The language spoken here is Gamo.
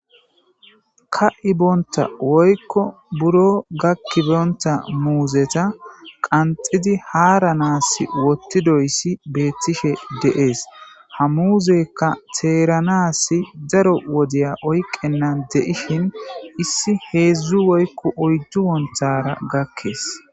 Ka7ibonththa woykko biron gakkibonththa muuzetha qanxxidi haaranaassi woththidoyssi beeththishe de7ees; ha muuzeekka theeranaassi daro wodiya oyqqennan de7ishin issi heezzu woykko oyddu wonththaara gakkees.